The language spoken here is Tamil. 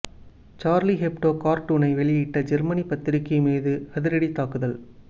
சார்லி ஹெப்டோ கார்டூனை வெளியிட்ட ஜேர்மனி பத்திரிக்கை மீது அதிரடி தாக்குதல்